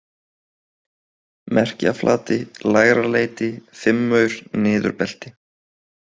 Merkjaflati, Lægraleiti, Fimmaur, Niðurbelti